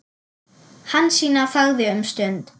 Hansína þagði um stund.